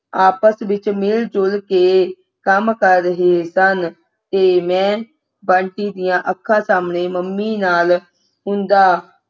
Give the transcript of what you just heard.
ਆਪਸ ਵਿੱਚ ਮਿਲ ਜੁਲ ਕੇ ਕੰਮ ਕਰ ਰਹੇ ਸਨ ਤੇ ਮੈਂ ਬੰਟੀ ਦੀ ਅੱਖਾਂ ਸਾਹਮਣੇ ਮੰਮੀ ਨਾਲ ਹੁੰਦਾ